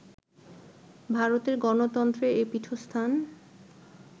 ভারতের গণতন্ত্রের এ পীঠস্থান